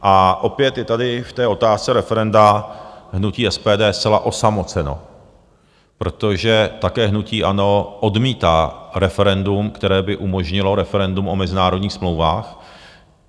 A opět je tady v té otázce referenda hnutí SPD zcela osamoceno, protože také hnutí ANO odmítá referendum, které by umožnilo referendum o mezinárodních smlouvách.